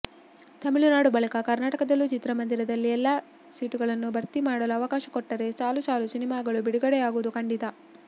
ತಮಿಳುನಾಡು ಬಳಿಕ ಕರ್ನಾಟಕದಲ್ಲೂ ಚಿತ್ರಮಂದಿರದಲ್ಲಿ ಎಲ್ಲಾ ಸೀಟುಗಳನ್ನೂ ಭರ್ತಿ ಮಾಡಲು ಅವಕಾಶ ಕೊಟ್ಟರೆ ಸಾಲು ಸಾಲು ಸಿನಿಮಾಗಳು ಬಿಡುಗಡೆಯಾಗೋದು ಖಂಡಿತಾ